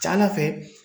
Ca ala fɛ